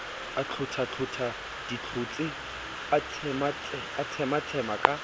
aitlhothatlhotha ditlhotse a tshematshema ka